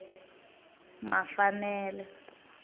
mafanele